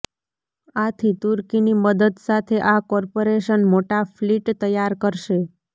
આથી તુર્કીની મદદ સાથે આ કોર્પોરેશન મોટા ફલીટ તૈયાર કરશે